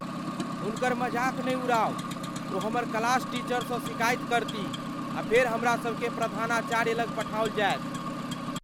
हुनकर मजाक नहि उड़ाउ। ओ हमर क्लास टीचरसँ शिकायत करतीह आ फेर हमरा सभकेँ प्रधानाचार्य लग पठाओल जायत।